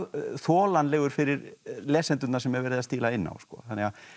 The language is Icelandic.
þolanlegur fyrir lesendurna sem er verið að stíla inn á þannig að